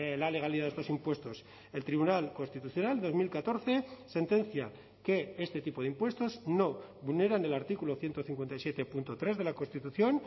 la legalidad de estos impuestos el tribunal constitucional dos mil catorce sentencia que este tipo de impuestos no vulneran el artículo ciento cincuenta y siete punto tres de la constitución